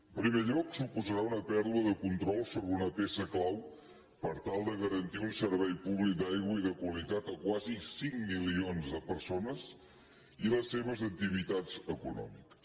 en primer lloc suposarà una pèrdua de control sobre una peça clau per tal de garantir un servei públic d’aigua i de qualitat a quasi cinc milions de persones i les seves activitats econòmiques